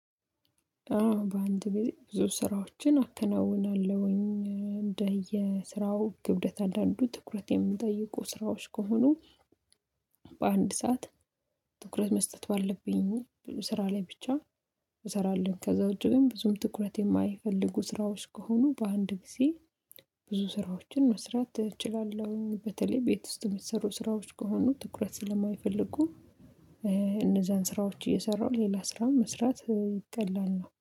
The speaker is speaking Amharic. በአንድ ግዜ ብዙ ስራዎችን አከናውናለሁኝ እንደየ ስራው ክብደት አንዳንዱ ትኩረት የሚጠይቁ ስራዎች ከሆኑ። በአንድ ሰዓት ትኩረት መስጠት ባለብኝ ስራ ላይ ብቻ። እሰራለውኝ ከዛ ውጭ ግን ብዙም ትኩረት የማይፈልጉ ስራዎች ከሆኑ በአንድ ጊዜ ብዙ ስራዎችን መስራት እችላለሁኝ። በተለይ ቤት ውስጥ የሚሰሩ ስራዎች ከሆኑ ትኩረት ስለማይፈልጉ። እነዛን ስራዎች እየሰራሁ ሌላ ስራም መስራት ቀላል ነው